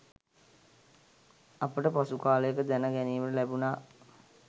අපට පසුකාලයක දැන ගැනීමට ලැබුණා.